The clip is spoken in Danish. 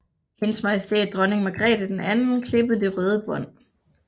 HM Dronning Margrethe II klippede det røde bånd